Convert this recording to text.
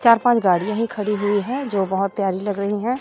चार पांच गाड़ियां ही खड़ी हुई हैं जो बहुत प्यारी लग रही हैं।